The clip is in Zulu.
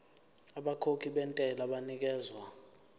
abakhokhi bentela banikezwa